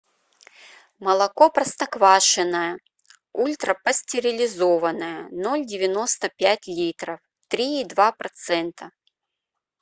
молоко простоквашино ультрапастеризованное ноль девяносто пять литров три и два процента